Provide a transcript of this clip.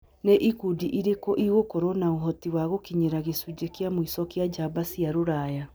Nĩ ikundi irĩkũ igũkorũo na ũhoti wa gũkinyĩra gĩcunjĩ kĩa mũico kĩa njamba cia Rũraya?